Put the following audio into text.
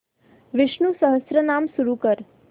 विष्णु सहस्त्रनाम सुरू कर